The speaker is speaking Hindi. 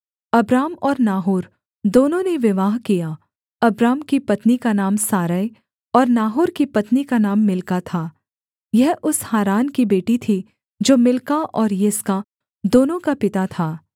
अब्राम और नाहोर दोनों ने विवाह किया अब्राम की पत्नी का नाम सारै और नाहोर की पत्नी का नाम मिल्का था यह उस हारान की बेटी थी जो मिल्का और यिस्का दोनों का पिता था